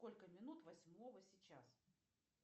сколько минут восьмого сейчас